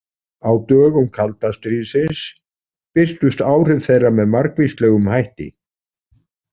Á dögum kalda stríðsins birtust áhrif þeirra með margvíslegum hætti.